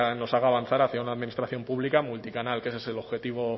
nos haga avanzar hacia una administración pública multicanal que ese es el objetivo